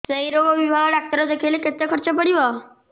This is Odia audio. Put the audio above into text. ସେଇ ରୋଗ ବିଭାଗ ଡ଼ାକ୍ତର ଦେଖେଇଲେ କେତେ ଖର୍ଚ୍ଚ ପଡିବ